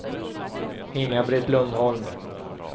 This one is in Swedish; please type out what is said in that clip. Inga-Britt Lundholm